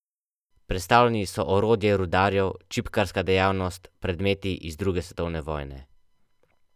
Predstavljeni so orodje rudarjev, čipkarska dejavnost, predmeti iz druge svetovne vojne ...